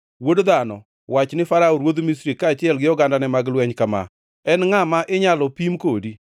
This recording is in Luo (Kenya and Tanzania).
Wuod dhano, wach ni Farao ruodh Misri kaachiel gi ogandane mag lweny kama: En ngʼa ma inyalo pim kodi?